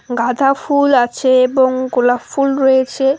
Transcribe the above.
গাদা ফুল আছে এবং গোলাপ ফুল রয়েছে।